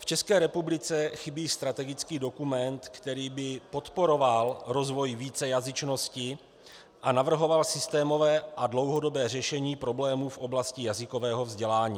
V České republice chybí strategický dokument, který by podporoval rozvoj vícejazyčnosti a navrhoval systémové a dlouhodobé řešení problému v oblasti jazykového vzdělání.